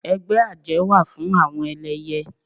Ẹgbẹ́ àjẹ́ wà fún àwọn ẹlẹyẹ